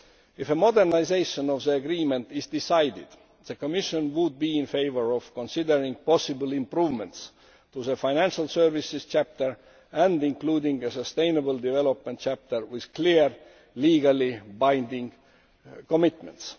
If a modernisation of the agreement is decided, the Commission would be in favour of considering possible improvements to the financial services chapter and including a sustainable development chapter with clear legally binding commitments.